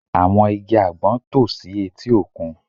Àwọn igi àgbọn tò si etí òkun